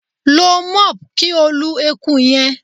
Lo mop ki o lu eku yẹn